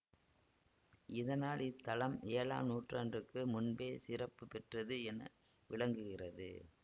இதனால் இத்தலம் ஏழாம் நூற்றாண்டுக்கு முன்பே சிறப்பு பெற்றது என விளங்குகிறது